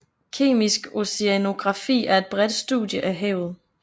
Kemisk oceanografi er et bredt studie af havet